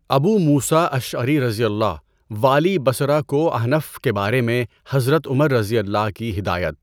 ابو موسیٰ اشعریؓ والی بصرہ کو احنف کے بارہ میں حضرت عمرؓ کی ہدایت